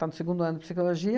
Está no segundo ano de Psicologia,